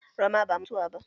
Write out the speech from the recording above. Rama ba mutuwa ba.